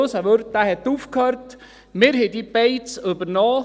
Unser Wirt hat aufgehört, wir haben diese Beiz übernommen.